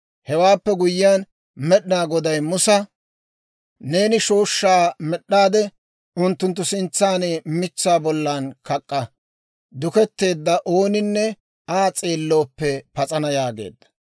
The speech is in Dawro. Hewaappe guyyiyaan Med'inaa Goday Musa, «Neeni shooshshaa med'd'aade, unttunttu sintsan mitsaa bollan kak'k'a; duketteedda ooninne Aa s'eellooppe pas'ana» yaageedda.